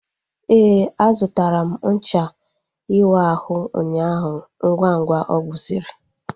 Éè, a zụtara m ncha iwu ahụ ụnyaahụ ngwa ngwa ọ gwusiri